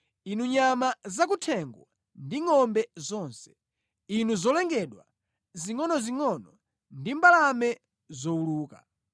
inu nyama zakuthengo ndi ngʼombe zonse, inu zolengedwa zingʼonozingʼono ndi mbalame zowuluka.